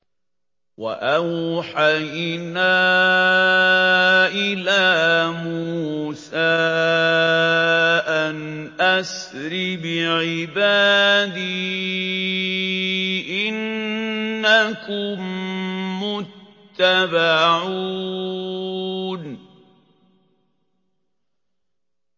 ۞ وَأَوْحَيْنَا إِلَىٰ مُوسَىٰ أَنْ أَسْرِ بِعِبَادِي إِنَّكُم مُّتَّبَعُونَ